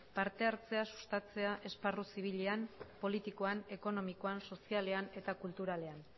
partehartzea sustatzea esparru zibilean politikoan ekonomikoan sozialean eta kulturalean